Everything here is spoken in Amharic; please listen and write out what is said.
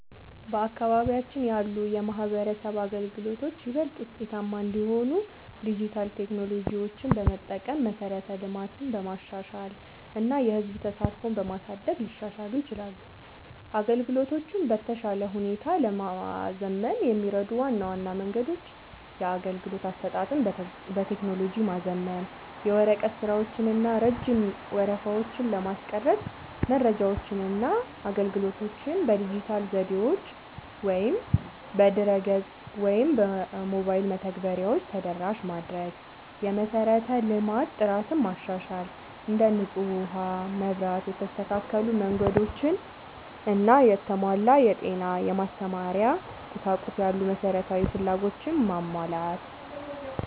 በአካባቢያችን ያሉ የማህበረሰብ አገልግሎቶች ይበልጥ ውጤታማ እንዲሆኑ ዲጂታል ቴክኖሎጂዎችን በመጠቀም፣ መሠረተ ልማትን በማሻሻል እና የህዝብ ተሳትፎን በማሳደግ ሊሻሻሉ ይችላሉ። አገልግሎቶቹን በተሻለ ሁኔታ ለማዘመን የሚረዱ ዋና ዋና መንገዶች - የአገልግሎት አሰጣጥን በቴክኖሎጂ ማዘመን፦ የወረቀት ስራዎችን እና ረጅም ወረፋዎችን ለማስቀረት መረጃዎችንና አገልግሎቶችን በዲጂታል ዘዴዎች (በድረ-ገጽ ወይም በሞባይል መተግበሪያዎች) ተደራሽ ማድረግ። የመሠረተ ልማት ጥራትን ማሻሻል፦ እንደ ንጹህ ውሃ፣ መብራት፣ የተስተካከሉ መንገዶች እና የተሟላ የጤና/የማስተማሪያ ቁሳቁስ ያሉ መሠረታዊ ፍላጎቶችን ማሟላት።